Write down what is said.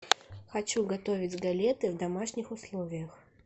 хочу готовить галеты в домашних условиях